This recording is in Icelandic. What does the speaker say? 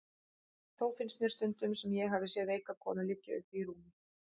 Þó finnst mér stundum sem ég hafi séð veika konu liggja uppi í rúmi.